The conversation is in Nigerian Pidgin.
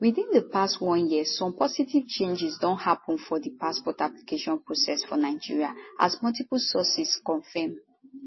within di past one year some positive changes don happen for di passport application process for nigeria as multiple sources confirm